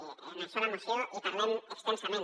i d’això a la moció en parlem extensament